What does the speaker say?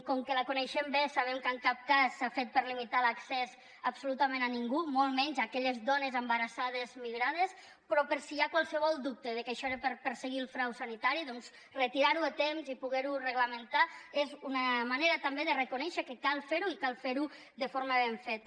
com que la coneixem bé sabem que en cap cas s’ha fet per limitar l’accés absolutament a ningú molt menys a aquelles dones embarassades migrades però per si hi ha qualsevol dubte de que això era per perseguir el frau sanitari doncs retirar ho a temps i poder ho reglamentar és una manera també de reconèixer que cal fer ho i cal fer ho de forma ben feta